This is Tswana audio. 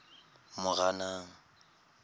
moranang